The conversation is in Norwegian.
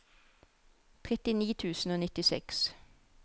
trettini tusen og nittiseks